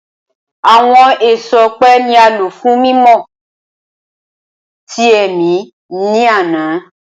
Awọn eso ọpẹ ni a lo fun mimọ ti ẹmi ni ana.